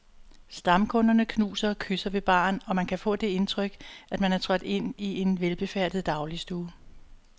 Stamkunderne knuser og kysser ved baren, og man kan få det indtryk, at man er trådt ind i en velbefærdet dagligstue.